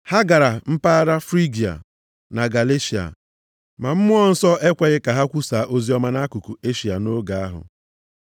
Ha gara mpaghara Frigia na Galeshịa. Ma Mmụọ Nsọ ekweghị ka ha kwusaa oziọma nʼakụkụ Eshịa nʼoge ahụ.